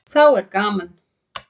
Þá er gaman.